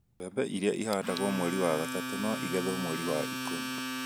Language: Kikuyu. Mbembe iria ihandagwo mweri wa gatatũ no igethwo mweri wa ikũmi